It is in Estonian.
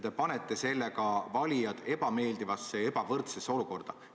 Te panete sellega valijad ebameeldivasse ja ebavõrdsesse olukorda.